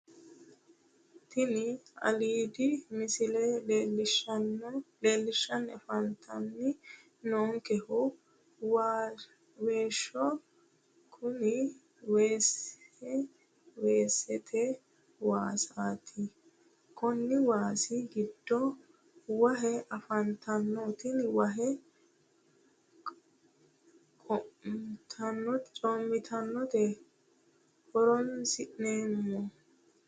Tini aliidi misile leellishshanni afantanni noonkehu waasaho kuni waasi weesete waasaati konni waasi giddo wahe afantanno tenne wahe qaamattote horonsi'neemmo